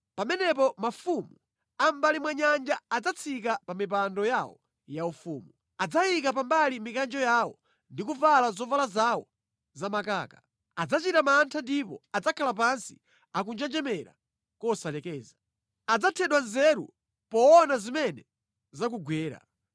Pamenepo mafumu a mʼmbali mwa nyanja adzatsika pa mipando yawo yaufumu. Adzayika pambali mikanjo yawo ndi kuvala zovala zawo zamakaka. Adzachita mantha ndipo adzakhala pansi akunjenjemera kosalekeza. Adzathedwa nzeru poona zimene zakugwera.